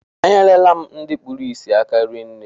E nyere la m ndị kpụrụ isi aka rinne